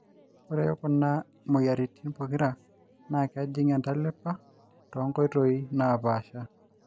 kore kuna moyiaritin pokira naa kejing entalipa too nkoitoi naapasha